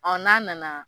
n'a nana